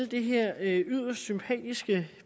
det her yderst sympatiske